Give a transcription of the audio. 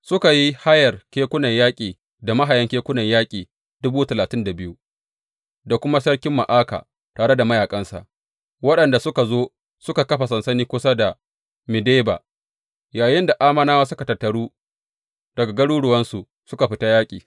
Suka yi hayar kekunan yaƙi da mahayan kekunan yaƙi dubu talatin da biyu, da kuma sarkin Ma’aka tare da mayaƙansa, waɗanda suka zo suka kafa sansani kusa da Medeba, yayinda Ammonawa suka tattaru daga garuruwansu suka fita yaƙi.